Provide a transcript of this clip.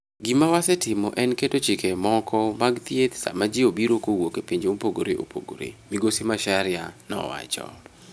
"Gima wasetimo en keto chike moko mag thieth sama ji obiro kowuok e pinje mopogore opogore," Migosi Macharia nowacho.